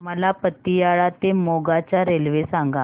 मला पतियाळा ते मोगा च्या रेल्वे सांगा